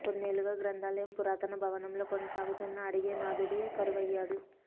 కొన్నేళ్లుగా గ్రంథాలయం పురాతన భవనంలో కొనసాగుతున్న అడిగే నాథుడే కరువయ్యాడు